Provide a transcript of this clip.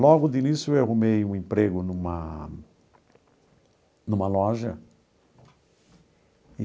Logo de início eu arrumei um emprego numa numa loja.